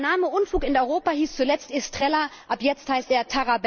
Der Name Unfug in Europa hieß zuletzt Estrela, ab jetzt heißt er